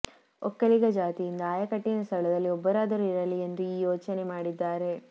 ಒಕ್ಕಲಿಗ ಜಾತಿಯಿಂದ ಆಯಕಟ್ಟಿನ ಸ್ಥಳದಲ್ಲಿ ಒಬ್ಬರಾದರೂ ಇರಲಿ ಎಂದು ಈ ಯೋಚನೆ ಮಾಡಿದ್ದಾರೆ